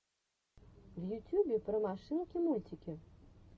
в ютюбе про машинки мультики